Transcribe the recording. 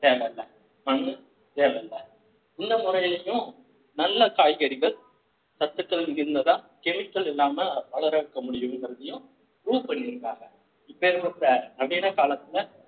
தேவையில்ல மண்ணு தேவையில்ல இந்த முறையிலேயும் நல்ல காய்கறிகள் சத்துக்கள் இருந்ததா chemical இல்லாம வளர வைக்க முடியும்ங்கிறதையும் proof பண்ணி இருக்காங்க இப்பேர்பட்ட நவீன காலத்துல